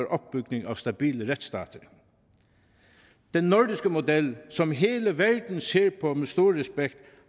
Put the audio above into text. opbygning er stabile retsstater den nordiske model som hele verden ser på med stor respekt